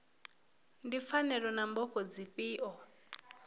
ndi pfanelo na mbofho dzifhio